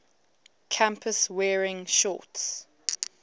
campus wearing shorts